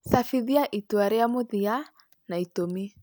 Cabithia itua rĩa mũthia, na itũmi.